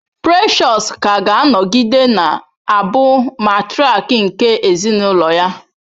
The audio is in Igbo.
Precious ka ga-anọgide na-abụ matrịak nke ezinụlọ ya.